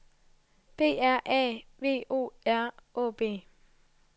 B R A V O R Å B